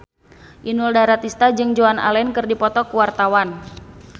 Inul Daratista jeung Joan Allen keur dipoto ku wartawan